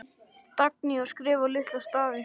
Dagný: Og skrifa litla stafi.